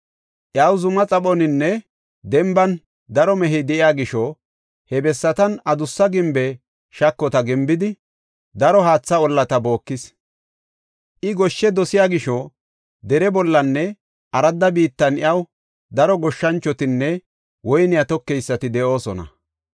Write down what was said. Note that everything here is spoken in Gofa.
Iyaw zuma xaphoninne denban daro mehey de7iya gisho he bessatan adussa gimbe shakota gimbidi daro haatha ollata bookis. I goshshe dosiya gisho dere bollanne aradda biittan iyaw daro goshshanchotinne woyney tokeysati de7oosona.